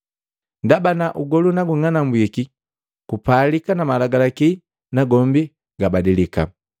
Ndaba ugolu nagung'anambwiki, kupalika na malagalaki nagombi gabadilika.